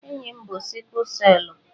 Enyi m bú sikụl selụ